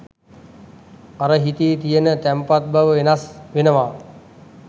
අර හිතේ තියෙන තැන්පත් බව වෙනස් වෙනවා.